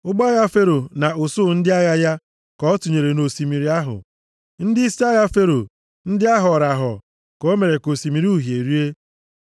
Ụgbọ agha Fero na usuu ndị agha ya, ka ọ tụnyere nʼosimiri ahụ. Ndịisi agha Fero, ndị ahọrọ ahọ, ka o mere ka Osimiri Uhie rie.